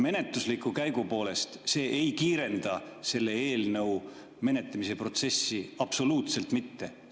Menetlusliku käigu poolest see ei kiirenda eelnõude menetlemise protsessi absoluutselt mitte.